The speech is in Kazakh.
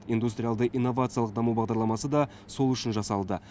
индустриалды инновациялық даму бағдарламасы да сол үшін жасалды